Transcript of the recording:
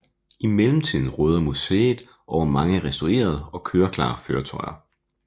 I mellemtiden råder museet over mange restaurerede og køreklare køretøjer